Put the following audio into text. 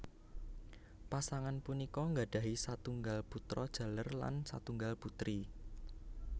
Pasangan punika nggadhahi satunggal putra jaler lan satunggal putri